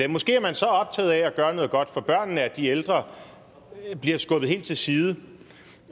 måske er man så optaget af at gøre noget godt for børnene at de ældre bliver skubbet helt til side